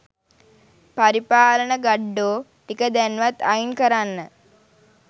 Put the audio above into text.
පරිපාලන ගඩ්ඩෝ ටික දැන්වත් අයින් කරන්න